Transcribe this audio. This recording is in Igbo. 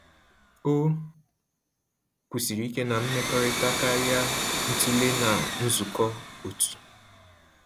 O kwụsịrị ike na mmekọrịta karịa ntule na nzukọ otu